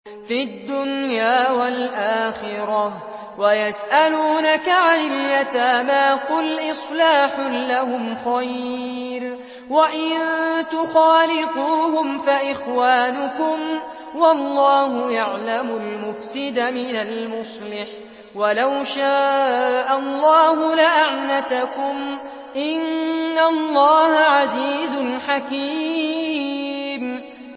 فِي الدُّنْيَا وَالْآخِرَةِ ۗ وَيَسْأَلُونَكَ عَنِ الْيَتَامَىٰ ۖ قُلْ إِصْلَاحٌ لَّهُمْ خَيْرٌ ۖ وَإِن تُخَالِطُوهُمْ فَإِخْوَانُكُمْ ۚ وَاللَّهُ يَعْلَمُ الْمُفْسِدَ مِنَ الْمُصْلِحِ ۚ وَلَوْ شَاءَ اللَّهُ لَأَعْنَتَكُمْ ۚ إِنَّ اللَّهَ عَزِيزٌ حَكِيمٌ